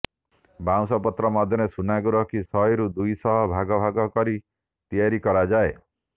ବାଉଁସ ପତ୍ର ମଧ୍ୟରେ ସୁନାକୁ ରଖି ଶହେରୁ ଦୁଇ ଶହ ଭାଗ ଭାଗ କରି ତିଆରି କରାଯାଏ